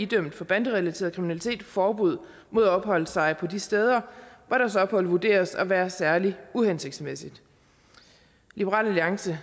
dømt for banderelateret kriminalitet forbud mod at opholde sig på de steder hvor deres ophold vurderes at være særlig uhensigtsmæssigt liberal alliance